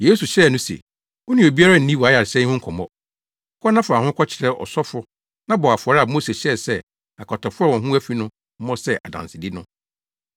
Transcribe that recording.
Yesu hyɛɛ no se, “Wo ne obiara nni wʼayaresa yi ho nkɔmmɔ. Kɔ na fa wo ho kɔkyerɛ ɔsɔfo na bɔ afɔre a Mose hyɛɛ sɛ akwatafo a wɔn ho afi no mmɔ sɛ adansedi no.”